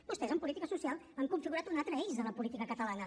vostès en política social han configurat un altre eix de la política catalana